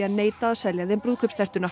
neita að selja þeim